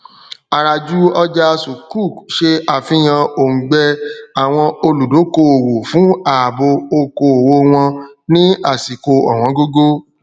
àràjù ọjà sukkuk ṣe àfihàn òngbẹ àwọn olùdókoòwò fún ààbo okòowò wọn ní àsìkò òwọngógó